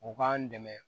O k'an dɛmɛ